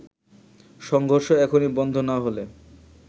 সংঘর্ষ এখনই বন্ধ না হলে